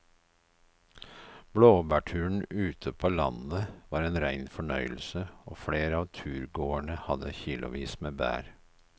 Blåbærturen ute på landet var en rein fornøyelse og flere av turgåerene hadde kilosvis med bær.